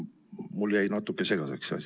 Mulle jäi natuke segaseks see asi.